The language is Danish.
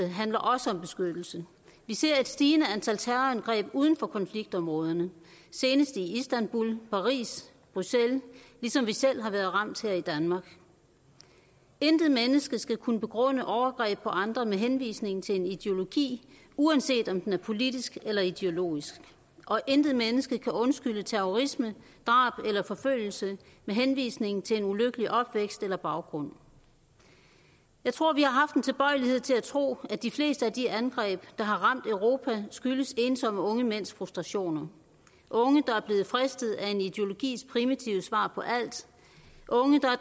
handler også om beskyttelse vi ser et stigende antal terrorangreb uden for konfliktområderne senest i istanbul paris og bruxelles ligesom vi selv har været ramt her i danmark intet menneske skal kunne begrunde overgreb på andre med henvisning til en ideologi uanset om den er politisk eller ideologisk og intet menneske kan undskylde terrorisme drab eller forfølgelse med henvisning til en ulykkelig opvækst eller baggrund jeg tror at vi har haft en tilbøjelighed til at tro at de fleste af de angreb der har ramt europa skyldes ensomme unge mænds frustrationer unge der er blevet fristet af en ideologis primitive svar på alt unge der er